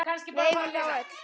Við eigum þá öll.